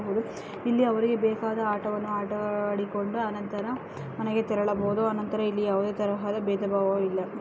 ಇಲ್ಲಿ ಅವರಿಗೆ ಬೇಕಾದ ಆಟವನ್ನು ಆಡಿಕೊಳ್ಳುತ್ತಾ ಆನಂತರ ಮನೆಗೆ ತೆರಳಬಹುದು ಇಲ್ಲಿ ಯಾವುದೇ ತರಹದ ಭೇದಭಾವ ಇಲ್ಲ .